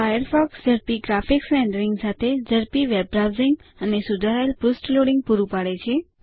Firefox ઝડપી graphics rendering સાથે ઝડપી વેબ બ્રાઉઝિંગ અને સુધારાયેલ પૃષ્ઠ લોડીંગ પૂરું પાડે છે